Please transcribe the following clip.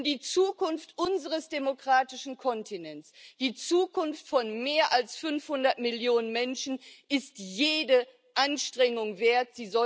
Denn die Zukunft unseres demokratischen Kontinents, die Zukunft von mehr als 500 Millionen Menschen ist jede Anstrengung wert.